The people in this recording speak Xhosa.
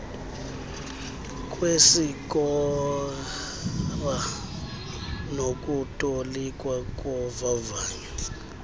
kwesikora nokutolikwa kovavanyo